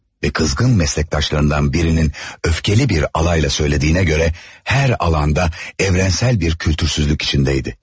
Ve kızgın meslektaşlarından birinin öfkeli bir alayla söylediğine göre her alanda evrensel bir kültürsüzlük içindeydi.